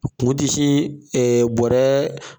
Kun ti sin ɛ bɔrɛ